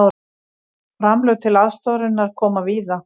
Framlög til aðstoðarinnar koma víða